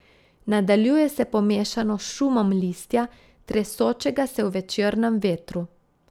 Nadaljuje se pomešano s šumom listja, tresočega se v večernem vetru.